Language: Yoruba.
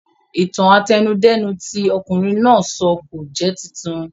Ìtàn àtẹnudẹ́nu tí ọ̀kunrin náà sọ kò jẹ́ titun